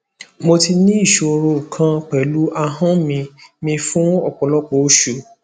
mo ti ní ìṣòro kan pẹlu ahọn mi mi fun ọpọlọpọ osu